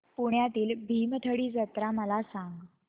पुण्यातील भीमथडी जत्रा मला सांग